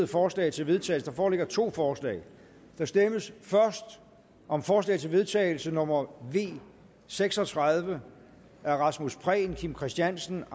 forslag til vedtagelse der foreligger to forslag der stemmes først om forslag til vedtagelse nummer v seks og tredive af rasmus prehn kim christiansen